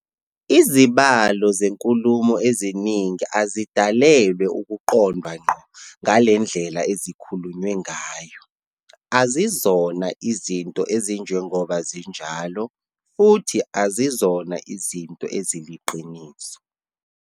Izibalo zenkulumo eziningi azidalelwe ukuqondwa ngqo ngalendlela ezikhulunywe ngayo- azizona izinto ezinjengoba zinjalo, futhi azizona izinto eziliqiniso.